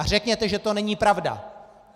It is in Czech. A řekněte, že to není pravda!